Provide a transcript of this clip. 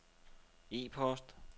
e-post